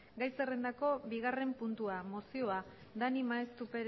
gai zerrendako bigarren puntua mozioa dani maeztu